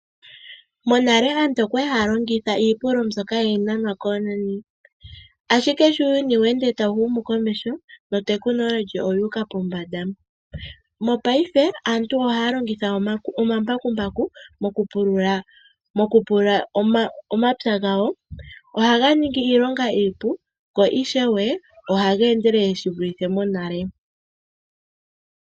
Monale aantu okwali haya longitha iipululo mbyoka hayi nanwa koonani ashike sho uuyuni tawu ende wu uka komeho no tekilonohi oyu uka pombanda. Mopayife aantu ohaya longitha omambakumbaku moku pulula omapya gawo. Ohaga ningi iilonga iipu go ishewe ohaga endelele shivulithe monale.